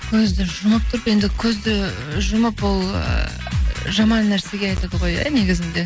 көзді жұмып тұрып енді көзді жұмып ол ыыы жаман нәрсеге айтады ғой иә негізінде